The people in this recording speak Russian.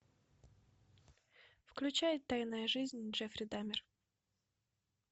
включай тайная жизнь джеффри дамер